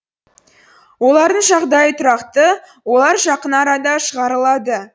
олардың жағдайы тұрақты олар жақын арада шығарылады